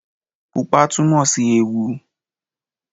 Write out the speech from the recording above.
Pupa túnmòsí ewu